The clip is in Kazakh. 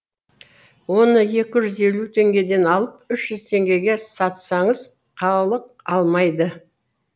оны екі жүз елу теңгеден алып үш жүз теңгеге сатсаңыз халық алмайды